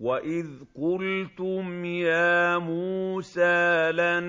وَإِذْ قُلْتُمْ يَا مُوسَىٰ لَن